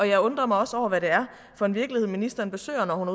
jeg undrer mig også over hvad det er for en virkelighed ministeren besøger når hun